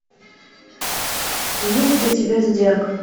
есть ли у тебя зодиак